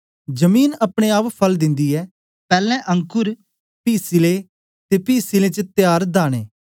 जमीन अपने आप फल दिन्दी ऐ पैलैं अंकुर पी सिले ते पी सिलें च तयार दाने